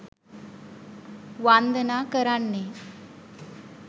වන්දනා කරන්නේ